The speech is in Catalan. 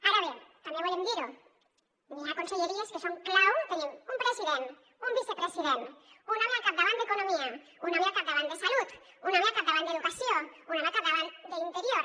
ara bé també volem dir ho n’hi ha conselleries que són clau tenim un president un vicepresident un home al capdavant d’economia un home al capdavant de salut un home al capdavant d’educació un home al capdavant d’interior